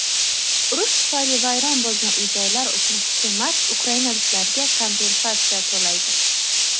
urush tufayli vayron bo‘lgan uy-joylar uchun hukumat ukrainaliklarga kompensatsiya to‘laydi.